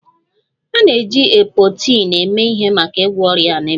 A na-eji Epoetin eme ihe maka ịgwọ ọrịa anaemia